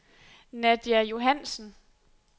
Nadia Johansen